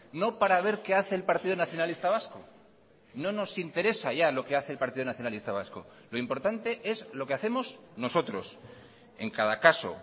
no para ver que hace el partido nacionalista vasco no nos interesa ya lo que hace el partido nacionalista vasco lo importante es lo que hacemos nosotros en cada caso